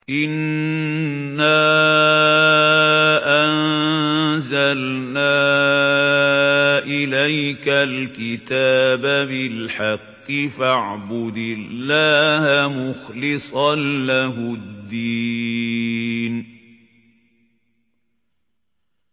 إِنَّا أَنزَلْنَا إِلَيْكَ الْكِتَابَ بِالْحَقِّ فَاعْبُدِ اللَّهَ مُخْلِصًا لَّهُ الدِّينَ